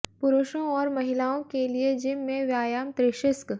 पुरुषों और महिलाओं के लिए जिम में व्यायाम त्रिशिस्क